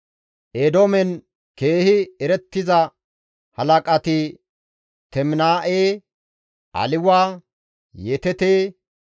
Eedoomen keehi erettiza halaqati Teminaa7e, Aliwa, Yeteete,